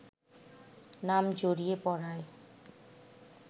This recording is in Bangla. নাম জড়িয়ে পড়ায়